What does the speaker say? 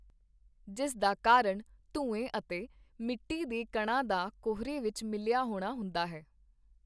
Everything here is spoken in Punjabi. ਜਿਸ ਦਾ ਕਾਰਣ ਧੂੰਏਂ ਅਤੇ ਮਿੱਟੀ ਦੇ ਕਣਾਂ ਦਾ ਕੋਹਰੇ ਵਿੱਚ ਮਿਲਿਆ ਹੋਣਾ ਹੁੰਦਾ ਹੈ।